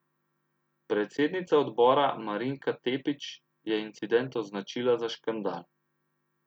Predsednica odbora Marinika Tepić je incident označila za škandal.